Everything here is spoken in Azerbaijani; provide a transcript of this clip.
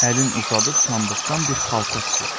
Əlin uzadıb sandıqdan bir xalça çıxartdı.